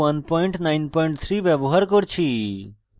ruby 193 ব্যবহার করছি